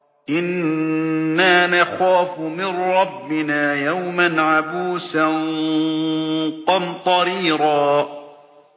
إِنَّا نَخَافُ مِن رَّبِّنَا يَوْمًا عَبُوسًا قَمْطَرِيرًا